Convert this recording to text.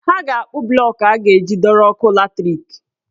Ha ga-akpụ blọk e a ga-eji dọrọ ọkụ latrik.